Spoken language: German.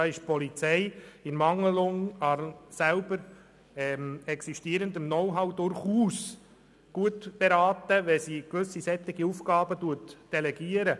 Da ist die Polizei in Ermangelung von eigenem Know-how durchaus gut beraten, gewisse solche Aufgaben zu delegieren.